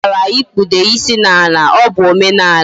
Ikaara ikpude isi na ala. O bu omenala